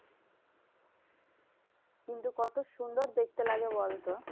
কিন্তু কত সুন্দর দেখতে লাগে বলতো?